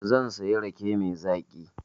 Zan siyo rake mai zaƙi